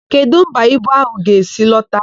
Kedụ mba ibu áhụ̀ ga-esi lọta?